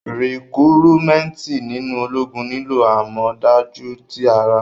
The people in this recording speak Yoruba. Rikurumenti sinu ologun nilo amọdaju ti ara.